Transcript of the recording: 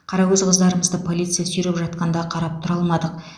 қарагөз қыздарымызды полиция сүйреп жатқанда қарап тұра алмадық